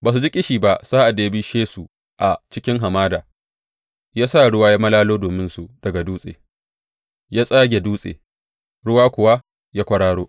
Ba su ji ƙishi ba sa’ad da ya bishe su a cikin hamada; ya sa ruwa ya malalo dominsu daga dutse; ya tsage dutse ruwa kuwa ya kwararo.